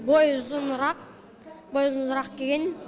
бойы ұзынырақ бойы ұзынырақ келген